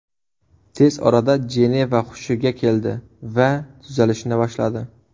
Tez orada Jeneva hushiga keldi va tuzalishni boshladi.